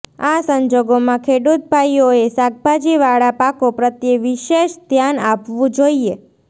આ સંજોગોમાં ખેડૂતભાઈઓએ શાકભાજીવાળા પાકો પ્રત્યે વિશેષ ધ્યાન આપવું જોઈએ